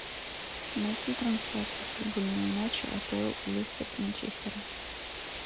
найти трансляцию футбольного матча апл лестер с манчестером